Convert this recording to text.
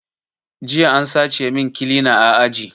Jiya an sace min kilina a aji